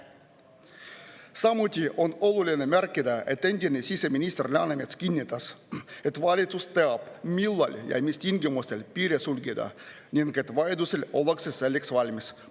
Samuti on oluline märkida, et endine siseminister Läänemets kinnitas, et valitsus teab, millal ja mis tingimustel piire sulgeda ning et vajadusel ollakse selleks valmis.